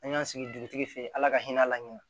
An y'an sigi dugutigi fɛ ye la ka hin'a la ɲinɛn